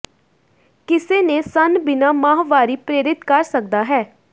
ਕਿਸੇ ਨੇ ਸਣ ਬਿਨਾ ਮਾਹਵਾਰੀ ਪ੍ਰੇਰਿਤ ਕਰ ਸਕਦਾ ਹੈ